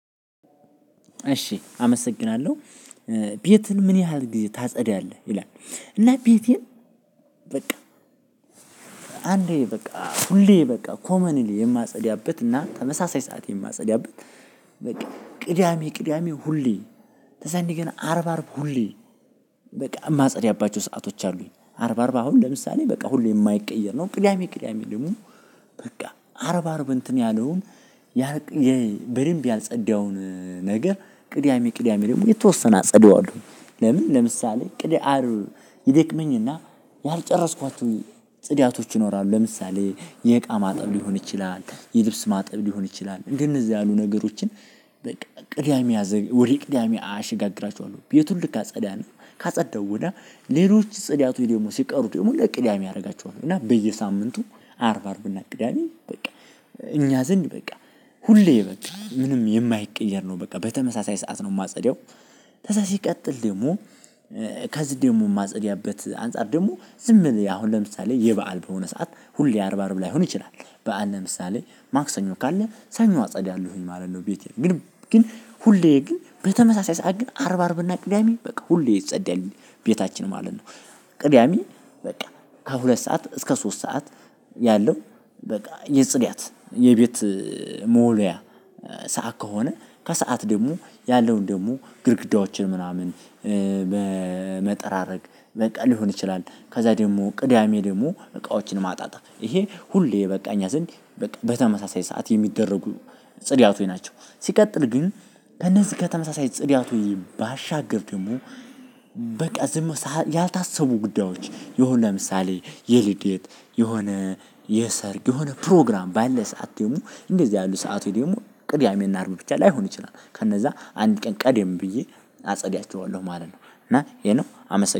እሺ አመሰግናለሁ ቤትን ምን ያህል ጊዜ ታጸዳለህ? ይላል እና ቤቴን በቃ አንዴ በቃ ሁሌ በቃ ኮመንሊ የማጸዳበት እና ተመሳሳይ ሰዓት የማጸዳበት በቃ ቅዳሜ ቅዳሜ ሁሌ ተዛኔ ግና አርብ አርብ በቃ የማጸዳባቸው ሰአቶች አሉኝ። አርብ አርብ አሁን ለምሳሌ በቃ ሁሌ የማይቀየር ነው። ቅዳሜ ቅዳሜ ደግሞ በቃ አርብ አርብ እንትን ያለውን በደንብ ያልጸዳውን ነገር ቅዳሜ ቅዳሜ ደግሞ የተወሰነ አጽድዋለሁ ለምን ለምሳሌ ቅድህ አርብ ይደክመኝ እና ያልጨረስኳት ጽዳቶች ይኖራሉ ለምሳሌ የእቃ ማጠብ ሊሆን ይችላል፣ የልብስ ማጠብ ሊሆን ይችላል፣ እንደ እዚህ ያሉ ነገሮችን በቃ ቅዳሜ ያዘገ ወደ ቅዳሜ አያሸጋግራቸዎለሁ ቤቱን ልካጸዳ ነው ካጸዳው ወዲያ ሌሎች ጽድያቱ ደግሞ ሲቀሩ ደግሞ ለቅዳሜ አደርጋቸዋለሁ እና በየሳምንቱ አርብ አርብ እና ቅዳሜ በቃ እኛ ዘንድ በቃ ሁሌ በቃ ምንም የማይቀየር ነው። በቃ በተመሳሳይ ሰዓት ነው የማጸደው ከዛ ሲቀጥል ደግሞ ከዚህ ደግሞ የማጸድበት አንፃር ደግሞ ዝም ብየ አሁን ለምሳሌ የበአል በሆነ ሰዓት ሁሌ አርብ አርብ ላይሆን ይችላል። በዓል ለምሳሌ ማክሰኞ ካለ ሰኞ አጸዳለሁ ማለት ነው። ቤቴ ግን ሁሌ ግን በተመሳሳይ ሰዓት ግን አርብ አርብ እና ቅዳሜ በቃ ሁሌ ይጸዳል። ቤታችን ማለት ነው። ቅዳሜ በቃ ከሁለት ሰዓት እስከ ሶስት ሰዓት ያለው በቃ የጽዳት የቤት መወልወያ ሰዓት ከሆነ ከሰአት ደግሞ ያለውን ደግሞ ግድግዳዎችን ምናምን መጠራረግ ሊሆን ይችላል። ከዛ ደግሞ ቅዳሜ ደግሞ እቃዎችን ማጣጣብ ይሄ ሁሌ በቃ እኛ ዘንድ በቃ በተመሳሳይ ሰዓት የሚደረጉ ጽድያቶይ ናቸው። ሲቀጥል ግን ከነዚህ ከተመሳሳይ ጽድያቶይ ባሻገር ደግሞ በቃ ዝም ያልታሰቡ ጉዳዮች የሆነ ለምሳሌ የልደት፣ የሆነ የሰርግ የሆነ ፕሮግራም ባለ ሰዓት ደግሞ እንደዚህ ያሉ ሰዓቱ ደግሞ ቅዳሜ እና አርብ ብቻ ላይሆን ይችላል ከነዛ አንድ ቀን ቀደም ብዬ አጸዳቸዋለሁ ማለት ነው እና ይሄ ነው አመሰግናለሁ።